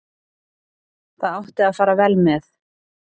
Það átti að fara vel með.